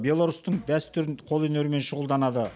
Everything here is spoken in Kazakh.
беларустың дәстүрін қолөнермен шұғылданады